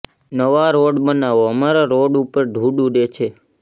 નવા રોડ બનાવો અમારા રોડ ઉપર ધુંડ ઉડે છે